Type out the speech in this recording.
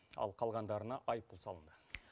ал қалғандарына айыппұл салынды